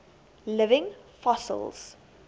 living fossils